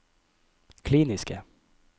kliniske